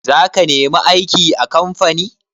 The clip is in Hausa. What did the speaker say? Za ka nemi aiki a kamfani?